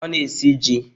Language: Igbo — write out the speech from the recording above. Ọ na-esi ji?